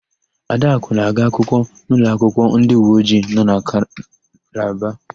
Adakụ na-aga akwụkwọ n'ụlọakwụkwọ ndịuweojii nọ na Kalaba.